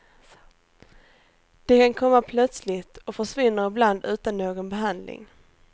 De kan komma plötsligt och försvinner ibland utan någon behandling.